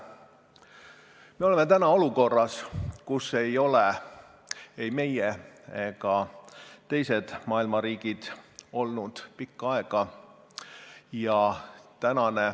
Me oleme täna olukorras, kus ei ole ei meie ega teised maailma riigid olnud pikka aega.